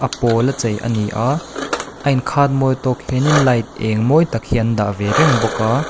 a pawla chei a ni a a inkhat mawi tawk hianin light êng mawi tak hi an dah ve reng bawk a.